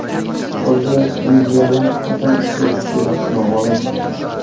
Qolgan liniyalar qachon ishga tushishi noma’lum.